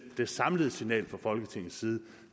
det samlede signal fra folketingets side